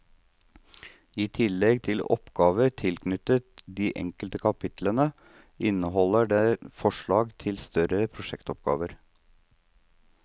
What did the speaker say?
I tillegg til oppgaver tilknyttet de enkelte kapitlene, inneholder den forslag til større prosjektoppgaver.